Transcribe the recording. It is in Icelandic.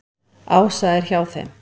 Ása er hjá þeim.